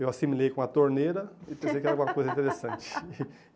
Eu assimilei com a torneira e pensei que era uma coisa interessante.